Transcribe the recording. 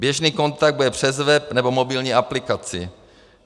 Běžný kontakt bude přes web nebo mobilní aplikaci.